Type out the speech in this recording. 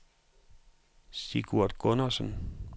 Sigurd Gundersen